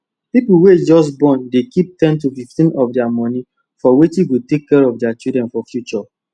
people wey just borndey keep ten to 15 of their money for wetin go take care of the children for future